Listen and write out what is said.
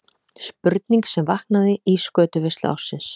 Spurning sem vaknaði í skötuveislu ársins.